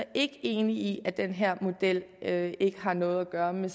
er ikke enig i at den her model ikke har noget at gøre med